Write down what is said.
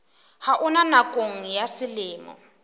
ha ona nakong ya selemo